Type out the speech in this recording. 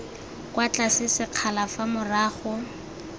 kwa tlase sekgala fa morago